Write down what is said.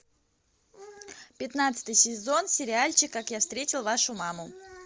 пятнадцатый сезон сериальчик как я встретил вашу маму